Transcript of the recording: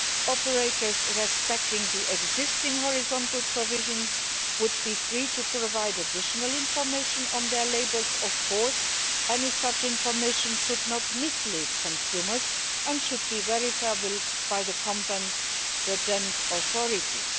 Operators respecting the existing horizontal provisions would, of course, be free to provide additional information on their labels. Any such information should not mislead consumers and should be verifiable by the competent authorities.